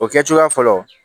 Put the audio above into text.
O kɛ cogoya fɔlɔ